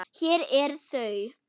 Hér eru þau